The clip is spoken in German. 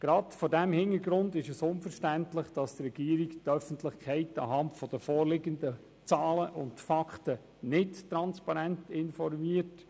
Gerade vor diesem Hintergrund ist es unverständlich, dass die Regierung die Öffentlichkeit anhand der vorliegenden Zahlen und Fakten nicht transparent informiert.